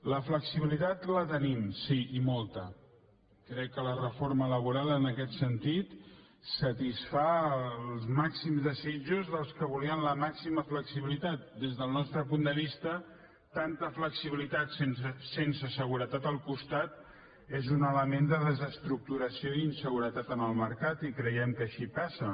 la flexibilitat la tenim sí i molta crec que la reforma laboral en aquest sentit satisfà els màxims desitjos dels que volien la màxima flexibilitat des del nostre punt de vista tanta flexibilitat sense seguretat al costat és un element de desestructuració i inseguretat en el mercat i creiem que així passa